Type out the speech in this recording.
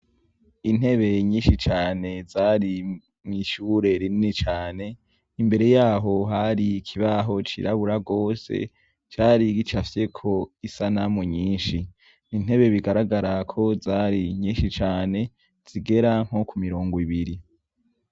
Intebe nyinshi cane zari mw'ishure rinini cane imbere yaho hari ikibaho cirabura rwose, cari gicafyeko isanamu nyinshi. Intebe bigaragara ko zari nyinshi cane zigera nko ku miringo ibiri.